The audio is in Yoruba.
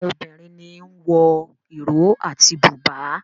Àwọn obìrin ní o wọ Iro àti buba.